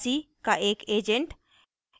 अनिवासी का एक agent